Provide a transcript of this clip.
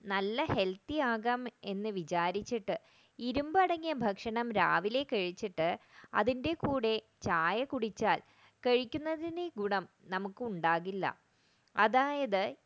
നല്ല helthi ആവാം എന്ന് വിചാരിച്ചിട്ട് ഇരുമ്പ് അടങ്ങിയ ഭക്ഷണം രാവിലെ കഴിച്ചിട്ട് അതിന്റെ കൂടെ ചായ കുടിച്ചാൽ കഴിക്കുന്നതിന്റെ ഗുണം നമുക്ക് ഉണ്ടാവില്ല